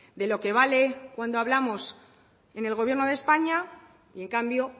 de lo que vale cuando hablamos en el gobierno de españa y en cambio